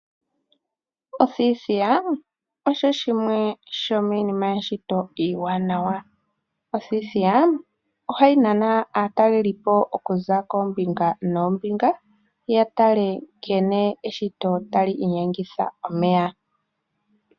Othithiya osho shimwe shomiinima yeshito oshiwanawa. Othithiya oha yi nana aatalelipo oka za koombinga noombinga, ya tale nkene eshito tali inyengitha omeya.